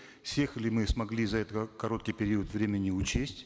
всех ли мы смогли за этот э короткий период времени учесть